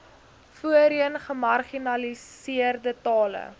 voorheen gemarginaliseerde tale